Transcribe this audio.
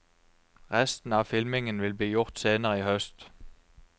Resten av filmingen vil bli gjort senere i høst.